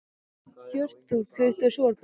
Hjörtþór, kveiktu á sjónvarpinu.